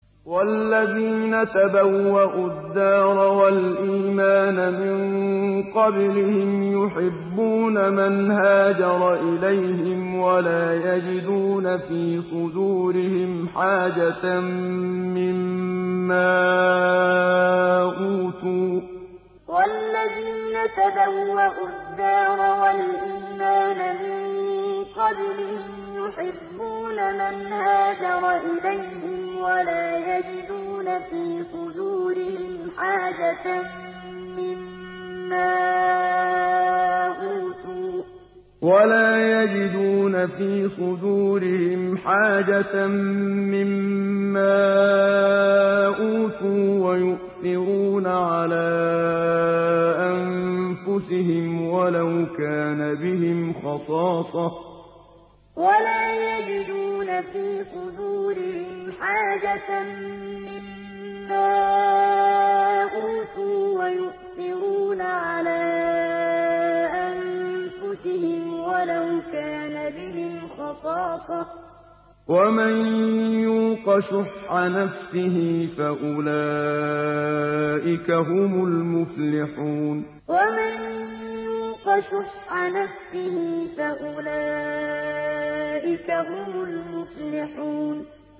وَالَّذِينَ تَبَوَّءُوا الدَّارَ وَالْإِيمَانَ مِن قَبْلِهِمْ يُحِبُّونَ مَنْ هَاجَرَ إِلَيْهِمْ وَلَا يَجِدُونَ فِي صُدُورِهِمْ حَاجَةً مِّمَّا أُوتُوا وَيُؤْثِرُونَ عَلَىٰ أَنفُسِهِمْ وَلَوْ كَانَ بِهِمْ خَصَاصَةٌ ۚ وَمَن يُوقَ شُحَّ نَفْسِهِ فَأُولَٰئِكَ هُمُ الْمُفْلِحُونَ وَالَّذِينَ تَبَوَّءُوا الدَّارَ وَالْإِيمَانَ مِن قَبْلِهِمْ يُحِبُّونَ مَنْ هَاجَرَ إِلَيْهِمْ وَلَا يَجِدُونَ فِي صُدُورِهِمْ حَاجَةً مِّمَّا أُوتُوا وَيُؤْثِرُونَ عَلَىٰ أَنفُسِهِمْ وَلَوْ كَانَ بِهِمْ خَصَاصَةٌ ۚ وَمَن يُوقَ شُحَّ نَفْسِهِ فَأُولَٰئِكَ هُمُ الْمُفْلِحُونَ